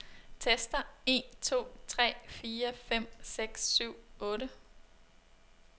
Tester en to tre fire fem seks syv otte.